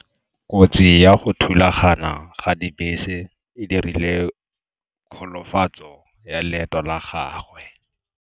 Kotsi ya go thulagana ga dibese e dirile kgolofatsô ya leoto la gagwe.